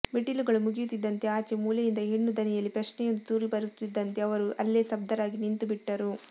ಮೆಟ್ಟಿಲುಗಳು ಮುಗಿಯುತ್ತಿದ್ದಂತೆ ಆಚೆ ಮೂಲೆಯಿಂದ ಹೆಣ್ಣು ದನಿಯಲ್ಲಿ ಪ್ರಶ್ನೆಯೊಂದು ತೂರಿಬರುತ್ತಿದ್ದಂತೆ ಅವರು ಅಲ್ಲೇ ಸ್ತಬ್ಧರಾಗಿ ನಿಂತುಬಿಟ್ಟರು